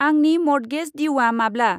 आंनि मर्टगेज द्युआ माब्ला?